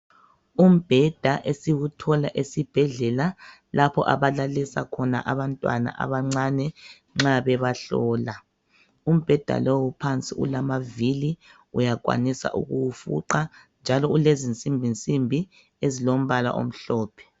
Umbheda esiwuthola esibhedlala lapho abalalisa khona abantwana abancane nxa bebahlola. Umbheda lowu phansi ulamavili uyakwanisa ukuwufuqa njalo olezinsimbi nsimbi ezilombala omhlophe.